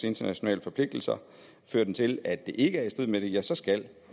internationale forpligtelser fører den til at det ikke er i strid med det ja så skal